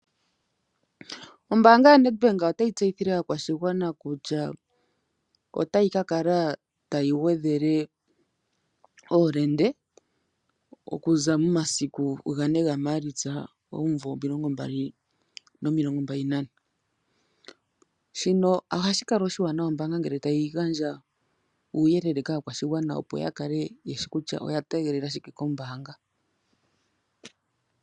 Ombaanga yaNedbank otayi tseyithile aakwashigwana kutya otayi kakala tayi gwedhele oolende okuza momasiku gane gaMaalitsa omuvo omilongombali nomilongombali nane (2024), shino ohashi kala oshiwanawa ombaanga ngele tayi gandja uuyelele kaakwashigwana opo ya kale yeshi kutya oya tegelela shike kombaanga.